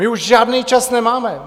My už žádný čas nemáme.